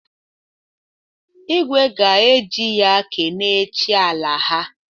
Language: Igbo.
Igwe ga-eji ya kene chi ala ha.